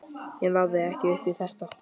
Ég náði ekki upp í þetta.